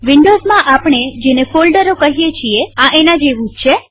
વિન્ડોવ્ઝમાં આપણે ફોલ્ડરો કહીએ છીએ એના જેવું છે